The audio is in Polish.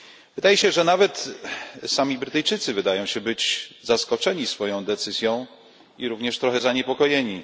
Wydaje się, że nawet sami Brytyjczycy wydają się zaskoczeni swoją decyzją, i również trochę zaniepokojeni.